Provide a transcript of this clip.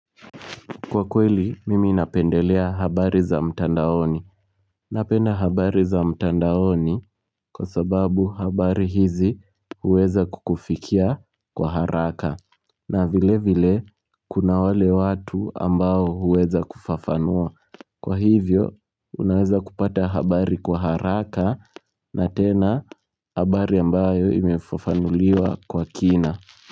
Kwa kweli, mimi napendelea habari za mtandaoni. Napenda habari za mtandaoni kwa sababu habari hizi huweza kukufikia kwa haraka. Na vile vile, kuna wale watu ambao huweza kufafanua. Kwa hivyo, unaweza kupata habari kwa haraka na tena habari ambayo imefafanuliwa kwa kina.